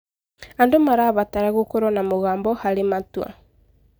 Andũ marabatara gũkorwo na mũgambo harĩ matua.